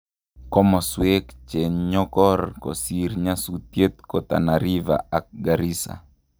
Komoswek chenkonyor kosir nyasutiet ko Tana river ak Garrisa